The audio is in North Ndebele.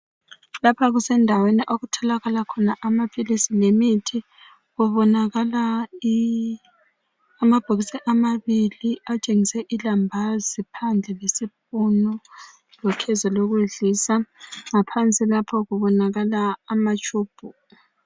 Lapha kusendaweni okutholakala khona amaphilisi lemithi. Kubonakala amabhokisi amabili atshengise ilambazi phandle lesipunu lokhezo lokudlisa. Ngaphansi lapha kubonakala amatshubhu.